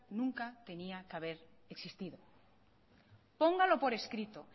nunca tenía que haber existido póngalo por escrito